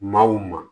Maa o maa